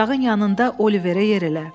Ocağın yanında Oliverə yer elə.